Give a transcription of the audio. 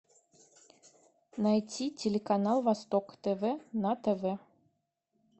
найти телеканал восток тв на тв